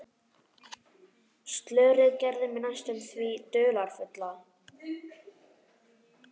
Slörið gerði mig næstum því dularfulla.